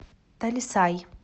талисай